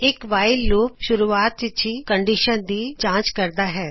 ਇਕ while loop ਸ਼ੁਰੂਆਤ ਵਿੱਚ ਹੀ ਕੰਡੀਸ਼ਨ ਦੀ ਜਾਂਚ ਕਰਦਾ ਹੈ